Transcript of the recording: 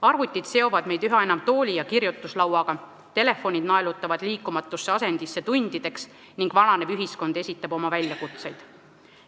Arvutid seovad meid üha enam tooli ja kirjutuslauaga, telefonid naelutavad tundideks liikumatusse asendisse ning vananev ühiskond esitab oma väljakutseid.